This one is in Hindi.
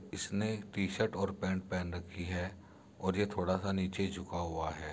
इसने टी-शर्ट और पेंट पहन रखी है और ये थोड़ा सा नीचे झुका हुआ है।